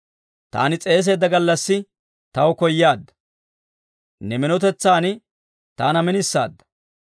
Taani s'eeseedda gallassi taw koyaadda; ne minotetsan taana minisaadda.